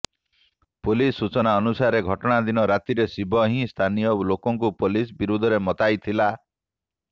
police ସୂଚନାନୁସାରେ ଘଟଣା ଦିନ ରାତିରେ ଶିବ ହିଁ ସ୍ଥାନୀୟ ଲୋକଙ୍କୁ ପୁଲିସ ବିରୋଧରେ ମତାଇଥିଲା